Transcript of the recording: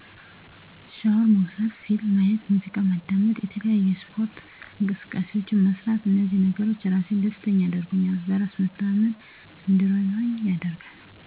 ሻወር መውሰድ ፊልም ማየት ሙዚቃ ማዳመጥ የተለያዪ የስፓርት እንቅስቃሴዎችን መስራት እንዚህ ነገሮች ራሴን ደስተኛ ያደርጉኛል በራስ መተማመን እንዲኖረኝ ያደርጋል